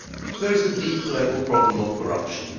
there is the deep level problem of corruption.